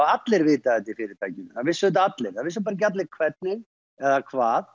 allir vitað þetta í fyrirtækinu það vissu þetta allir það vissu bara ekki allir hvernig eða hvað